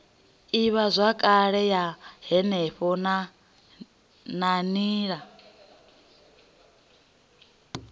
ivhazwakale ya henefho na nila